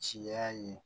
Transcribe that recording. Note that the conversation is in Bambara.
Ciya ye